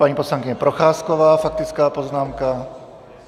Paní poslankyně Procházková, faktická poznámka.